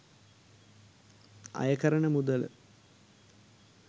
අයකරන මුදල